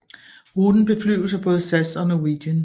Ruten beflyves af både SAS og Norwegian